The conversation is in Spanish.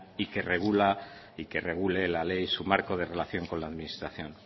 y que regula y que regule la ley su marco de relación con la administración